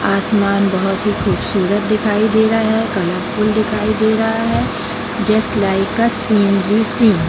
आसमान बहुत ही खूबसूरत दिखाई दे रहा है कलरफुल दिखाई दे रहा है just like a scenery scene.